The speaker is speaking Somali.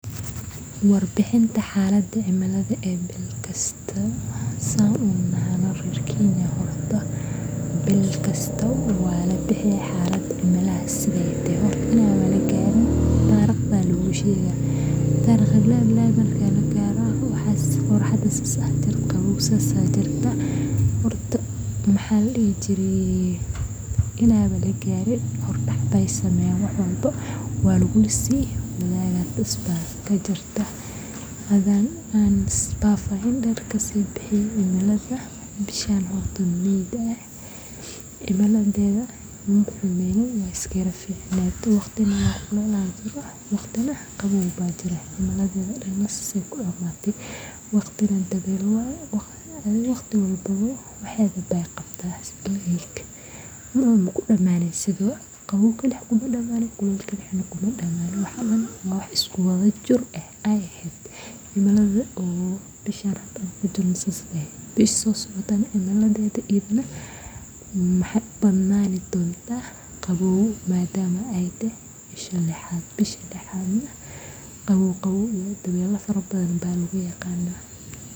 warbixinta xalada cimiladha ee bil kasto